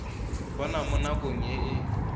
bona mo nakong e e